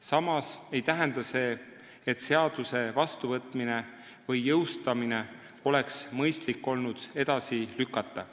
Samas ei tähenda see, et seaduse vastuvõtmist või jõustamist oleks olnud mõistlik edasi lükata.